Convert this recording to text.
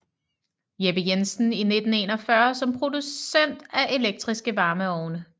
Jeppe Jensen i 1941 som producent af elektriske varmeovne